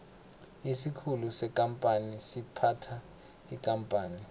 isikhulu sekampani siphatha ikampani